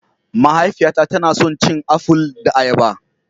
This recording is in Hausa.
Mahaifiyata tana son cin aful da ayaba